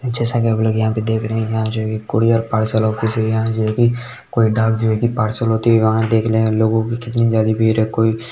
जैसा की हम लोग यहाँ पर देख रहे हैं यहाँ जो है कूरियर पार्सल ऑफिस है यहाँ जोकि कोई डाक जगह की पार्सल होती है वहाँ देख रहे हैं लोगो की कितनी ज्यादा भीड़ है। कोई--